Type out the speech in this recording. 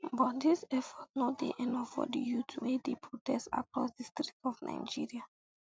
but dis efforts no dey enough for di youths wey um dey protest across di streets of nigeria